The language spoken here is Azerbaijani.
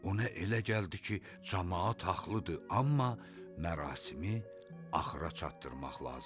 Ona elə gəldi ki, camaat haqlıdır, amma mərasimi axıra çatdırmaq lazım idi.